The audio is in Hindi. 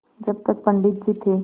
जब तक पंडित जी थे